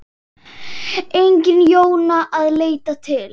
Engin Jóna að leita til.